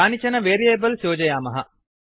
कानिचन वेरियेबल्स् योजयामः